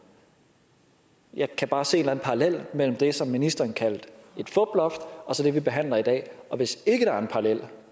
jeg kan bare se en parallel mellem det som ministeren kaldte et fuploft og så det vi behandler i dag og hvis ikke der er en parallel